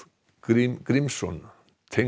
Grím Grímsson